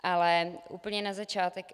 Ale úplně na začátek.